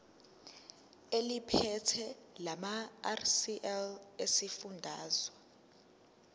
eliphethe lamarcl esifundazwe